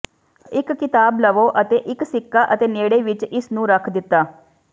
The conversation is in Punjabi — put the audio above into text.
ਇੱਕ ਕਿਤਾਬ ਲਵੋ ਅਤੇ ਇੱਕ ਸਿੱਕਾ ਅਤੇ ਨੇੜੇ ਵਿੱਚ ਇਸ ਨੂੰ ਰੱਖ ਦਿੱਤਾ